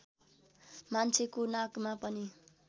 मान्छेको नाकमा पनि